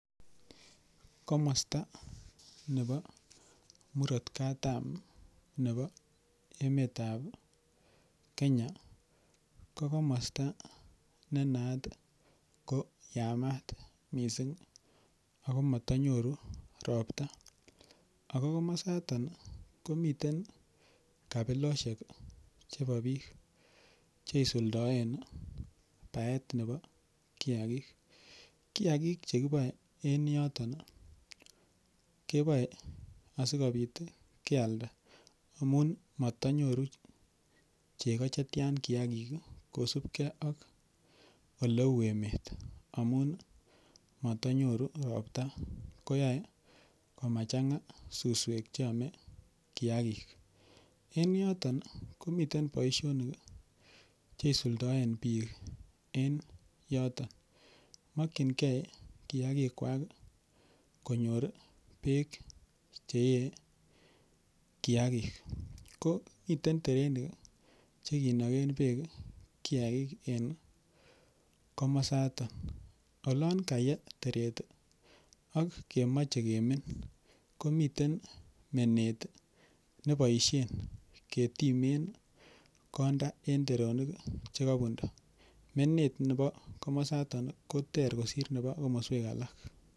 Komasta nepo mirat katam nepo emetap Kenya ko komasta ne naat ko yamat missing'. Mata nyoru ropta. Ako komastan i, ko miten kapiloshek chepo piik che isuldaen paet nepo kiakiik. Kiakiik che kipaen en yotok kepaen asikopit kealda amun matanyoru cheko che tian kiakik kosupgei ak ole u emet amun mata nyoru kopta, kohyse ko ma chang'a suswek che ame kiakik. Eng' yoton i, komiten poishonik che isuldaen piik en yotok. Makchingei kiakikwak konyor peek che ee kiakii. Ko miten terenik che kinagen peek kiakik en komasatak. Olan kaye teret ak kemache kemiin ko miten menet ne pashen ketime konda en teronik che kapunda. Menet nepo komamsatak koter kosir nepo komaswek alak.